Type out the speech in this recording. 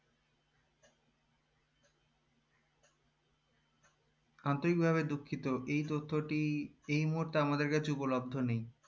আন্তরিক ভাবে দুঃখিত এই তথ্যটি এই মুহূর্তে আমাদের কাছে উপলব্দ নেই